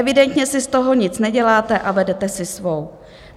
Evidentně si z toho nic neděláte a vedete si svou.